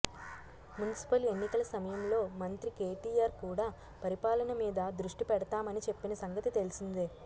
municipal ఎన్నికల సమయంలో మంత్రి కేటిఆర్ కూడా పరిపాలన మీద దృష్టి పెడతామని చెప్పిన సంగతి తెలిసిందే